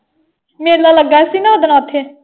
ਮੇਲਾ ਲੱਗਾ ਸੀ ਨਾ ਓਦਣ ਓਥੇ।